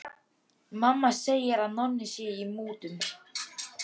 Mamma segir að Nonni sé í mútum.